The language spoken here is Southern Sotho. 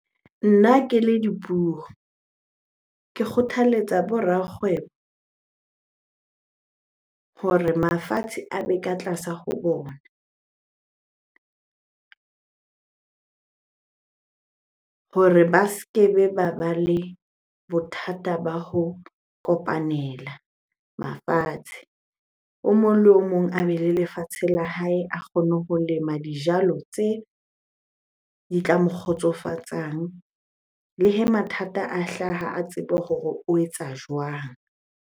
Nna ke le dipuo, ke kgothaletsa bo rakgwebo hore mafatshe a be ka tlasa ho bona hore ba ske be ba ba le bothata ba ho kopanela mafatshe. O mong le o mong a be le lefatshe la hae, a kgone ho lema dijalo tse tla mo kgotsofatsang. Le hee mathata a hlaha a tsebe hore o etsa jwang?